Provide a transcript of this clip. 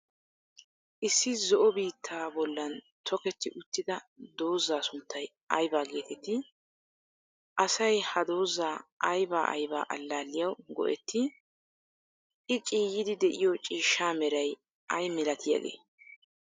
Issi zo'o biittaa bollan tokketti uttida dozaa sunttay aybaa geeteettii? Asay ha dozaa ayba ayba allaalliyawu go'ettii? I ciiyyiiddi de'yo ciishsaa meray ay malatiyagee?